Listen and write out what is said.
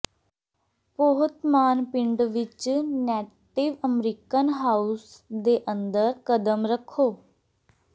Powhatan ਪਿੰਡ ਵਿੱਚ native American house ਦੇ ਅੰਦਰ ਕਦਮ ਰੱਖੋ